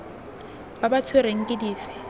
ba ba tshwerweng ke dife